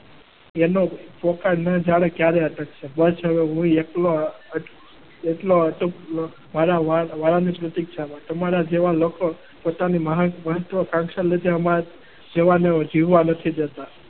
તમારા જેવા લોકો પોતાની મહત્વકાંક્ષા ના લીધે અમારા જેવાને જીવવા નથી દેતા.